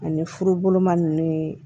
Ani furuma ninnu ye